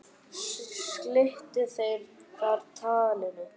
Slitu þeir þar talinu.